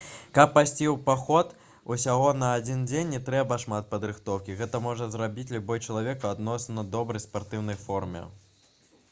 каб пайсці ў паход усяго на адзін дзень не трэба шмат падрыхтоўкі гэта можа зрабіць любы чалавек у адносна добрай спартыўнай форме